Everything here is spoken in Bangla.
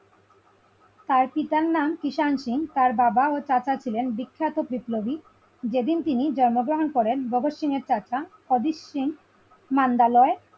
তার পিতার নাম কৃষাণ সিং তার বাবা ও কাকা ছিলেন বিখ্যাত বিপ্লবী যেদিন তিনি জন্মগ্রহণ করেন ভগৎ সিং এর কাকা অজিত সিং মান্দালয়ে ।